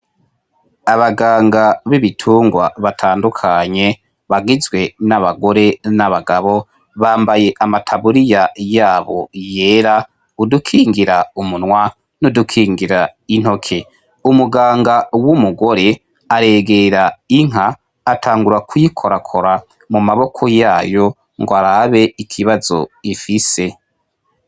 Abaganga b'ibitungwa batandukanye bagizwe n'abagore n'abagabo, bambaye amataburiya yabo yera, udukingira umunwa n'udukingira intoke. Umuganga w'umugore aregera inka atangura kuyikorakora mu maboko yayo ngo arabe ikibazo ifise.